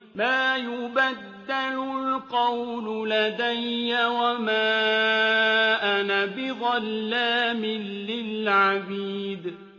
مَا يُبَدَّلُ الْقَوْلُ لَدَيَّ وَمَا أَنَا بِظَلَّامٍ لِّلْعَبِيدِ